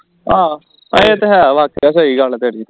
ਹਾਂ ਹਾਂ ਇਹ ਤਾਂ ਹੈ ਵਾਕਈ ਸਹੀ ਗੱਲ ਹੈ ਤੇਰੀ